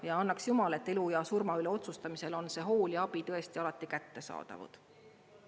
Ja annaks jumal, et elu ja surma üle otsustamisel on see hool ja abi tõesti alati kättesaadavad.